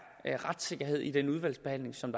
retssikkerhed i den udvalgsbehandling som